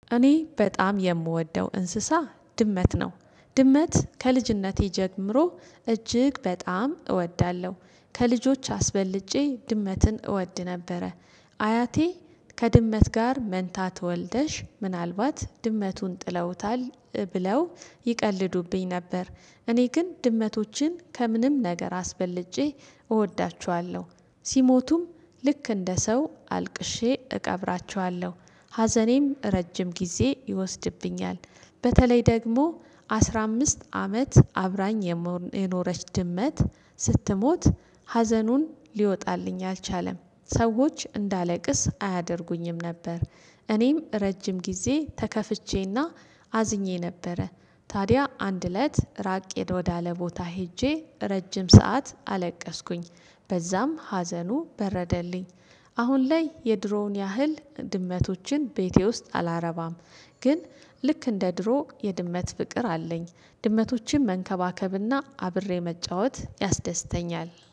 እኔ በጣም የምወደው እንስሳ ድመት ነው። ድመት ከልጅነቴ ጀምሮ እጅግ በጣም እወዳለሁ። ከልጆች አስበልጬ ድመትን እወድ ነበረ። አያቴ፥ ከድመት ጋር መንታ ትወልደሽ ምናልባት ድመቱን ጥለውታል ብለው ይቀልዱብኝ ነበር። እኔ ግን ድመቶችን ከምንም ነገር አስበልጬ እወዳችኋለሁ። ሲሞቱም ልክ እንደ ሰው አልቅሼ እቀብራቸዋለሁ። ሀዘኔም ረጅም ጊዜ ይወስድብኛል። በተለይ ደግሞ አስራ አምስት አመት አብራኝ የኖረች ድመት ስትሞት፥ ሀዘኑን ሊወጣልኝ አልቻለም። ሰዎች እንዳለቅስ አያደርጉኝም ነበር። እኔም ረጅም ጊዜ ተከፍቼና አዝኜ ነበረ። ታዲያ አንድ እለት ራቅ ወዳለ ቦታ ሄጄ ረጅም ሰዓት አለቀስኩኝ፥ በዛም ሀዘኑ በረደልኝ። አሁን ላይ የድሮውን ያህል ድመቶችን ቤቴ ውስጥ አላረባም። ግን ልክ እንደ ድሮ የድመት ፍቅር አለኝ። ድመቶችን መንከባከብና አብሬ መጫወት ያስደስተኛል።